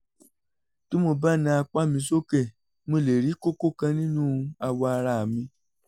bí mo bá na apá mi sókè mo lè rí kókó kan nínú awọ ara mi